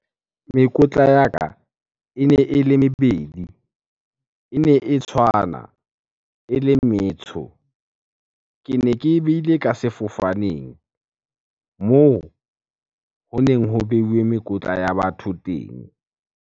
Mekotla ya ka ene ele mebedi, ene e tshwana, ele metsho. Kene ke e behile ka sefofaneng moo honeng ho beuwe mekotla ya batho teng.